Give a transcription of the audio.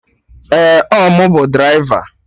Ee, ọ mụ bụ draịva